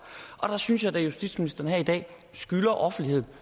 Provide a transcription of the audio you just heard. og der synes jeg da at justitsministeren her i dag skylder offentligheden